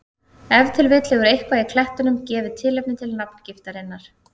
Ef til vill hefur eitthvað í klettunum gefið tilefni til nafngiftarinnar.